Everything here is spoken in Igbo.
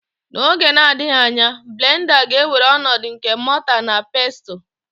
N'oge na-adịghị anya blenda ga-ewere ọnọdụ nke mota na pestul.